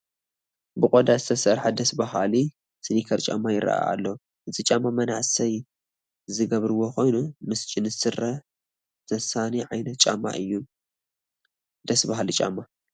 ብቆዳ ዝተሰርሐ ደስ በሃሊ ስኒከር ጫማ ይርአ ኣሎ፡፡ እዚ ጫማ መናእሰይ ዝገብርዎ ኮይኑ ምስ ጅንስ ስረ ዘሳንይ ዓይነት ጫማ እዩ፡፡ ደስ በሃሊ ጫማ፡፡